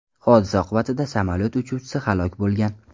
Hodisa oqibatida samolyot uchuvchisi halok bo‘lgan.